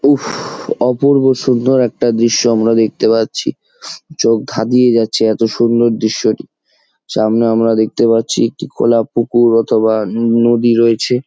উফফ অপূর্ব সুন্দর একটা দৃশ্য আমরা দেখতে পাচ্ছি চোখ ধাঁদিয়ে যাচ্ছে এত্ত সুন্দর দৃশ্যটি। সামনে আমরা দেখতে পাচ্ছি একটা খোলা পুকুর বা একটা নদী রয়েছে।